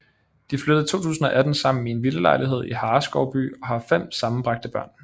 De flyttede i 2018 sammen i en villalejlighed i Hareskovby og har fem sammenbragte børn